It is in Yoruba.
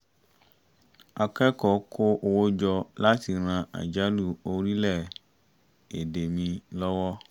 akẹ́kọ̀ọ́ kó owó jọ láti ran àjálù orílẹ̀-èdè míì lọ́wọ́